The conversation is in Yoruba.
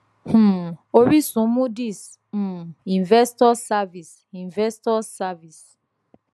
um oríṣun moodys um investors service investors service